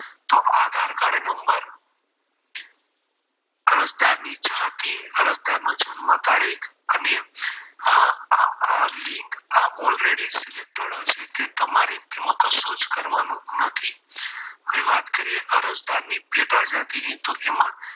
અરજદારની જન્મ તારીખ આ link already selected હશે તે તમારે કશું કરવાનું નથી હવે વાત કરીએ અરજદારની પેટા જાતિ ની તેમાં